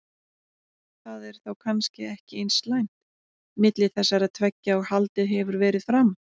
Það er þá kannski ekki eins slæmt milli þessara tveggja og haldið hefur verið fram?